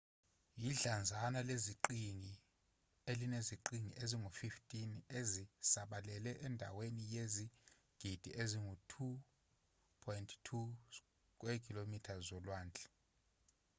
yidlanzana leziqhingi elineziqhingi ezingu-15 ezisabalele endaweni eyizigidi ezingu-2.2 km2 zolwandle